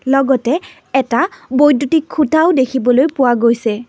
লগতে এটা বৈদ্যুতিক খুঁটাও দেখিবলৈ পোৱা গৈছে।